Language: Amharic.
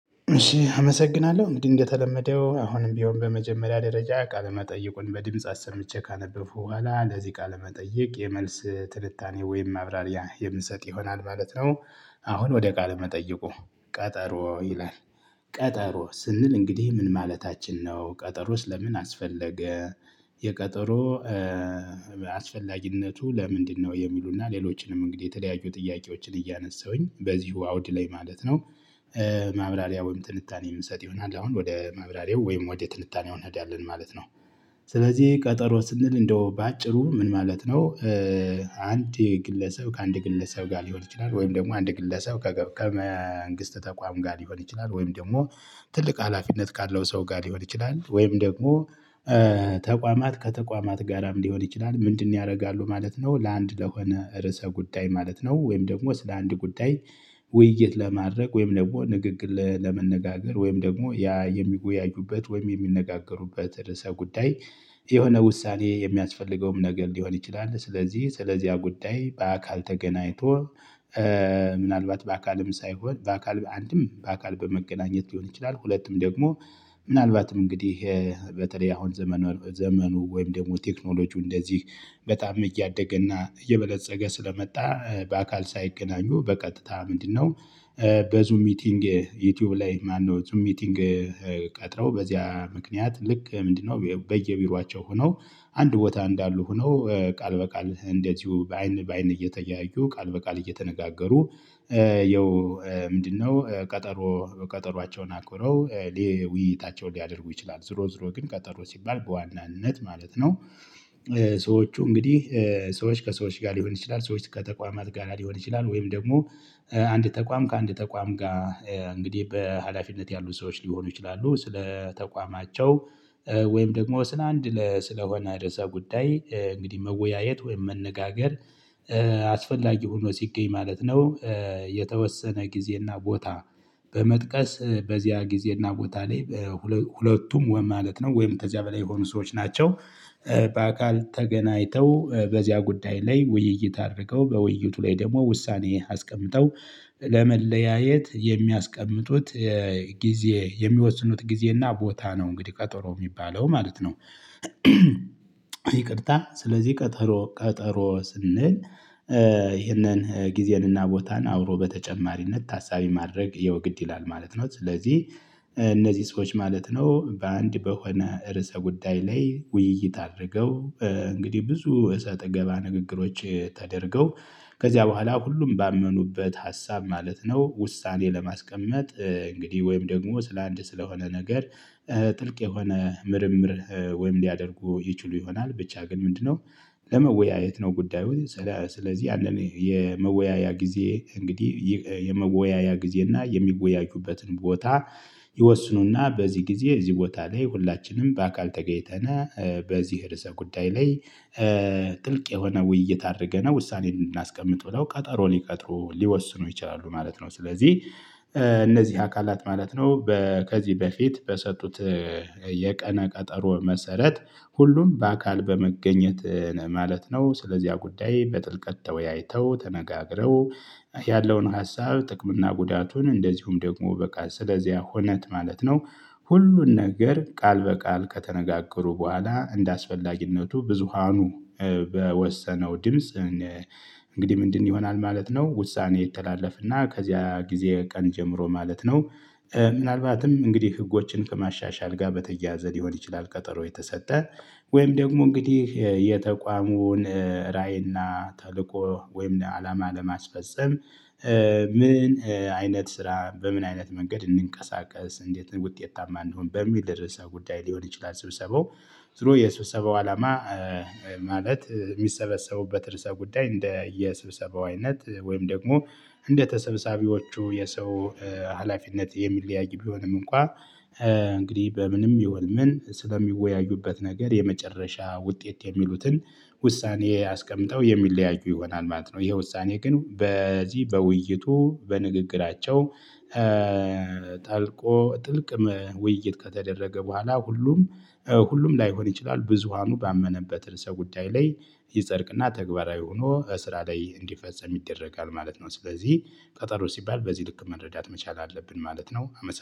እሺ አመሰግናለሁ እንዲህ እንደተለመደው አሁንም ቢሆን በመጀመሪያ ደረጃ ቃለ መጠይቁን በድምጽ አሰምቼ ካነበብኩ በኋላ ለዚህ ቃለ መጠየቅ የመልስ ትንታኔ ወይም ማብራሪያ የምሰጥ ይሆናል ማለት ነው። አሁን ወደ ቃለ መጠይቁ ቀጠሮ ይላል። ቀጠሮ ስንል እንግዲህ ምን ማለታችን ነው ቀጠሮስ ለምን አስፈለገ? የቀጠሮ አስፈላጊነቱ ለምንድነው የሚሉና ሌሎችንም እንግዲህ የተለያዩ ጥያቄዎችን እያነሳሁኝ በዚሁ አውድ ላይ ማለት ነው። ማብራሪያ ወይም ትንታኔ የምሰጥ ይሆናል አሁን ወደ ማብራሬው ወይም ወደ ትንታኔው እንሄዳለን ማለት ነው። ስለዚህ ቀጠሮ ስንል እንደው በአጭሩ ምን ማለት ነው? አንድ የግለሰብ ከአንድ ግለሰብ ጋር ሊሆን ይችላል ወይም ደግሞ አንድ ግለሰብ ከመንግስት ተቋም ጋር ሊሆን ይችላል ወይም ደግሞ ትልቅ ሀላፊነት ካለው ሰው ጋር ሊሆን ይችላል ወይም ደግሞ ተቋማት ከተቋማት ጋራም ሊሆን ይችላል። ምንድነው? ያደርጋሉ ማለት ነው ለአንድ ለሆነ ርዕሰ ጉዳይ ማለት ነው። ወይም ደግሞ ስለ አንድ ጉዳይ ውይይት ለማድረግ ወይም ደግሞ ንግግል ለመነጋገር ወይም ደግሞ ያ የሚወያዩበት ወይም የሚነጋገሩበት ርዕሰ ጉዳይ የሆነ ውሳኔ የሚያስፈልገውም ነገር ሊሆን ይችላል። ስለዚህ ስለዚህ ያ ጉዳይ በአካል ተገናኝቶ ምናልባት በአካልም ሳይሆን በአካል አንድም በአካል በመገናኘት ሊሆን ይችላል። ሁለቱም ደግሞ ምናልባትም እንግዲህ በተለይ አሁን ዘመኑ ዘመኑ ወይም ደግሞ ቴክኖሎጂው እንደዚህ በጣም እያደገ እና እየበለፀገ ስለመጣ በአካል ሳይገናኙ በቀጥታ ምንድነው? በዙም ሚቲንግ ዩቲዩብ ላይ ማነው ዙም ሚቲንግ? ቀጥረው በዚያ ምክንያት ልክ ምንድነው በየቢሯቸው ሆነው። አንድ ቦታ እንዳሉ ሆነው ቃል በቃል እንደዚሁ በአይን በአይን እየተያዩ ቃል በቃል እየተነጋገሩ። ይኸው ምንድነው? ቀጠሮ ቀጠሯቸውን አክብረው ጅ ውይይታቸውን ሊያደርጉ ይችላሉ። ዝሮ ዝሮ ግን ቀጠሮ ሲባል በዋናነት ማለት ነው። ሰዎቹ እንግዲህ ሰዎች ከሰዎች ጋር ሊሆን ይችላል ሰዎች ከተቋማት ጋር ሊሆን ይችላል ወይም ደግሞ አንድ ተቋም ከአንድ ተቋም ጋር እንግዲህ በሃላፊነት ያሉ ሰዎች ሊሆኑ ይችላሉ ስለ ተቋማቸው። ወይም ደግሞ ስንድ ለ ስለሆነ ርዕሰ ጉዳይ እንግዲህ መወያየት ወይም መነጋገር። አስፈላጊ ሆኖ ሲገኝ ማለት ነው። የተወሰነ ጊዜና ቦታ በመጥቀስ በዚያ ጊዜና ቦታ ላይ። ሁለቱም ወይ ማለት ነው ወይም ተዚያ በላይ የሆኑ ሰዎች ናቸው። በአካል ተገናኝተው በዚያ ጉዳይ ላይ ውይይት አድርገው በውይይቱ ላይ ደግሞ ውሳኔ አስቀምጠው ለመለያየት የሚያስቀምጡት ጊዜ የሚወስኑት ጊዜና ቦታ ነው እንግዲህ ቀጠሮ የሚባለው ማለት ነው። ይቅርታ ስለዚህ ቀጠሮ ቀጠሮ ስንል ይህንን ጊዜንና ቦታን አብሮ በተጨማሪነት ታሳቢ ማድረግ ያው ግድ ይላል ማለት ነው። ስለዚህ እነዚህ ሰዎች ማለት ነው በአንድ በሆነ ርዕሰ ጉዳይ ላይ ውይይት አድርገው እንግዲህ ብዙ እሰጥ ገባ ንግግሮች ተደርገው ከዚያ በኋላ ሁሉም ባመኑበት ሀሳብ ማለት ነው። ውሳኔ ለማስቀመጥ እንግዲህ ወይም ደግሞ ስለአንድ ስለሆነ ነገር። ጥልቅ የሆነ ምርምር ወይም ሊያደርጉ ይችሉ ይሆናል ብቻ ግን ምንድነው? ለመወያየት ነው ጉዳዩን። ስለዚህ ያንን የመወያያ ጊዜ እንግዲህ የመወያያ ጊዜ እና የሚወያዩበትን ቦታ። ይወስኑና በዚህ ጊዜ እዚህ ቦታ ላይ ሁላችንም በአካል ተገይተናል በዚህ ርዕሰ ጉዳይ ላይ። ጥልቅ የሆነ ውይይት አድርገናል ውሳኔ እንድናስቀምጥ ብለው ቀጠሮን ይቀጥሩ ሊወስኑ ይችላሉ ማለት ነው። ስለዚህ እነዚህ አካላት ማለት ነው ከዚህ በፊት በሰጡት የቀነ ቀጠሮ መሰረት ሁሉም በአካል በመገኘት ማለት ነው ስለዚያ ጉዳይ በጥልቀት ተወያይተው ተነጋግረው። ያለውን ሀሳብ ጥቅም እና ጉዳቱን እንደዚሁም ደግሞ በቃል ስለዚያ ሆነት ማለት ነው። ሁሉን ነገር ቃል በቃል ከተነጋገሩ በኋላ እንደ አስፈላጊነቱ ብዙሃኑ በወሰነው ድምጽ። እንግዲህ ምንድን ይሆናል ማለት ነው። ውሳኔ የተላለፈና ከዚያ ጊዜ ቀን ጀምሮ ማለት ነው። ምናልባትም እንግዲህ ህጎችን ከማሻሻል ጋር በተያያዘ ሊሆን ይችላል። ቀጠሮ የተሰጠ ወይም ደግሞ እንግዲህ የተቋሙን ራዕይና ተልእኮ ወይም አላማ ለማስፈፀም። ምን አይነት ስራ በምን አይነት መንገድ እንቀሳቀስ እንዴት ውጤታማ እንሁን በሚል ርዕሰ ጉዳይ ሊሆን ይችላል። ስብሰባው ዙሮ የሰብሰባው አላማ። ማለት የሚሰበሰቡበት ርዕሰ ጉዳይ እንደ የሰብሰባው አይነት ወይም ደግሞ እንደ ተሰብሳቢዎቹ የሰው ሀላፊነት የሚለያይ ቢሆንም እንኳን። እንግዲህ በምንም ይሁን ምን ስለሚወያዩበት ነገር የመጨረሻ ውጤት የሚሉትን ውሳኔ አስቀምጠው የሚለያዩ ይሆናል ማለት ነው። ይሄ ውሳኔ ግን በዚህ በውይይቱ በንግግራቸው። ጠልቆ ጥልቅ ውይይት ከተደረገ በኋላ ሁሉም ሁሉም ላይሆን ይችላል ብዙሃኑ ባመነበት እርሰ ጉዳይ ላይ ይጸድቅና ተግባራዊ ሆኖ ስራ ላይ እንዲፈጸም ይደረጋል ማለት ነው። ስለዚህ ቀጠሮ ሲባል በዚህ ልክ መረዳት መቻል አለብን ማለት ነው።